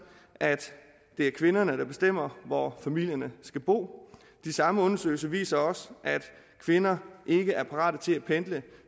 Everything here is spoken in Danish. at det er kvinderne der bestemmer hvor familierne skal bo de samme undersøgelser viser også at kvinder ikke er parate til at pendle